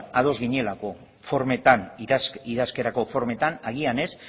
ados ginelako formetan idazkerako formetan agian ez